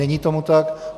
Není tomu tak.